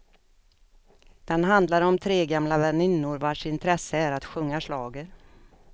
Den handlar om tre gamla väninnor vars intresse är att sjunga schlager.